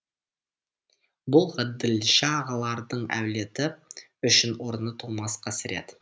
бұл ғаділша ағалардың әулеті үшін орны толмас қасірет